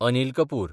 Anil Kapoor